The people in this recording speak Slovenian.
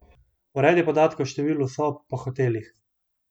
Uredi podatke o številu sob po hotelih.